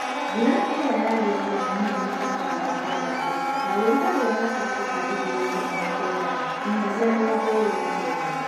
mbula ĩria yagĩrile nĩ milimita magana matandatũ na ũrugalĩ wa gatagatĩ ka digrii ikũmi na kenda nginyagia mĩrongo ĩlĩ na kenda